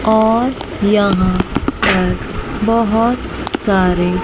और यहां पर बहोत सारे